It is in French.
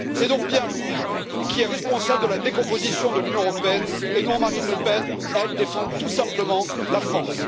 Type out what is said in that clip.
C'est donc bien lui qui est responsable de la décomposition de l'Union européenne et non Marine Le Pen elle défend tout simplement la France.